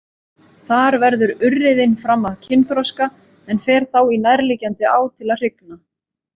Þar verður urriðinn fram að kynþroska en fer þá í nærliggjandi á til að hrygna.